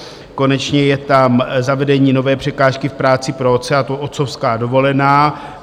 Konečně je tam zavedení nové překážky v práci pro otce, a to otcovská dovolená.